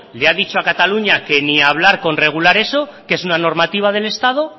le ha dicho a cataluña que ni hablar con regular eso que es una normativa del estado